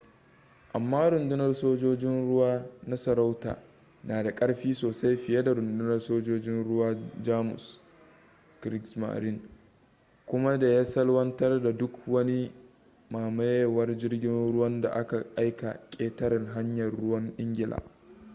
amma rundunar sojojin ruwa na sarauta na da ƙarfi sosai fiye da rundunar sojojin ruwan jamus kriegsmarine” kuma da ya salwantar da duk wani mamayewar jirgin ruwan da aka aika ƙetaren hanyar ruwan ingila